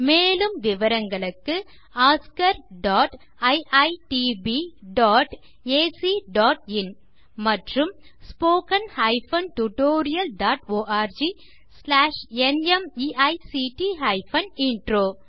மேலும் விவரங்களுக்கு oscariitbacஇன் ஆண்ட் spoken tutorialorgnmeict இன்ட்ரோ